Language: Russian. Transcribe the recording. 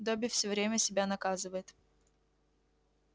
добби всё время себя наказывает